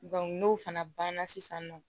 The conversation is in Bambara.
n'o fana banna sisan nɔ